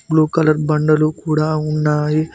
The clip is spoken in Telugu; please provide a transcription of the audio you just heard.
బ్లూ కలర్ బండలు కూడా ఉన్నాయి.